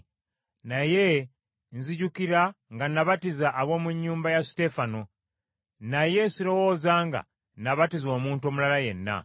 Naye nzijukira nga nabatiza ab’omu nnyumba ya Suteefana, naye sirowooza nga nabatiza omuntu omulala yenna.